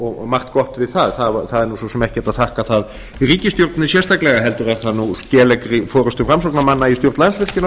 og margt gott við það það er svo sem ekkert að þakka það í ríkisstjórninni sérstaklega heldur er það skeleggri forustu framsóknarmanna í